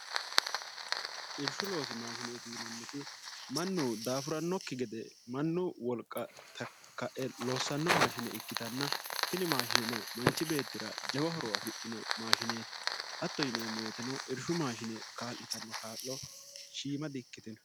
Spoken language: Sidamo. irshu loosi maashineeti yinanniti mannu daafurannokki gede mannu wolqa takka'e loossanno maashine ikkitanna tini maashine no manchi beettira jawa horo afidhino maashineeti hatto yineemmootino irshu maashine kaa'litanno kaa'lo shiima di ikkitino